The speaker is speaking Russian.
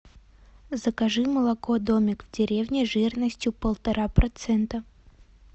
закажи молоко домик в деревне жирностью полтора процента